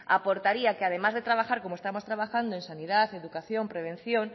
aportaría que además de trabajar como estamos trabajando en sanidad educación prevención